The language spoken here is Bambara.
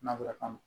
Nanzarakan na